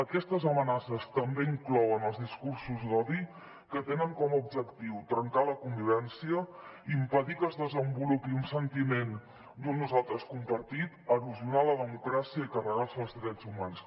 aquestes amenaces també inclouen els discursos d’odi que tenen com a objectiu trencar la convivència impedir que es desenvolupi un sentiment d’un nosaltres compartit erosionar la democràcia i carregar se els drets humans